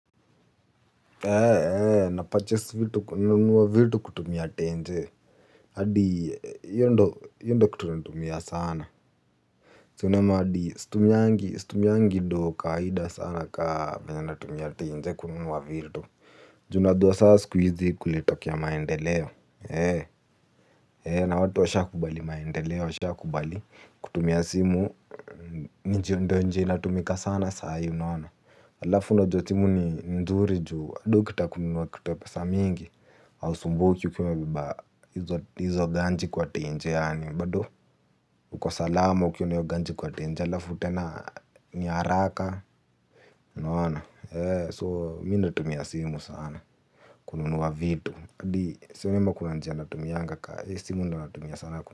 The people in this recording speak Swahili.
Ee, ee, napachesi kununua vitu kutumia tenje. Hadi, hiyo ndo kitu natumia sana. Si unaona hadi situmiangi doo kawaida sana ka venye natumia tenje kununua vitu. Juu unajuwa saa siku hizi kulitokea maendeleo. Ee, ee, na watu washakubali maendeleo, washakubali, kutumia simu, ndio njia inatumika sana saa hii unaona. Alafu unajua simu ni nzuri juu bado ukitaka kununua kitu ya pesa mingi hausumbuki ukiwa umebeba hizo ganji kwa tenje yani bado uko salama ukiwa na hiyo ganji kwa tenje alafu tena ni haraka unaona, so mimi natumia simu sana kununuwa vitu. Sioni ama kuna njia natumianga ka, simu ndio natumia sana.